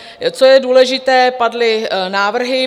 Co je důležité, padly návrhy.